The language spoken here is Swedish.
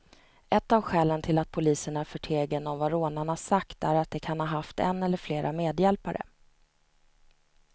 Ett av skälen till att polisen är förtegen om vad rånarna sagt är att de kan ha haft en eller flera medhjälpare.